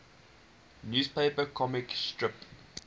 newspaper comic strip